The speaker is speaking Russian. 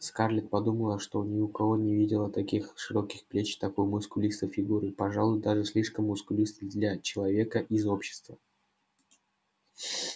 скарлетт подумала что ни у кого не видела таких широких плеч такой мускулистой фигуры пожалуй даже слишком мускулистой для человека из общества